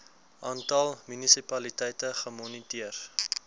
aantal munisipaliteite gemoniteer